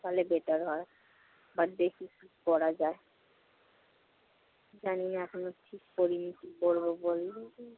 তাহলে better হয়। But দেখি কি করা যায়। জানি না এখনো ঠিক করিনি কি করব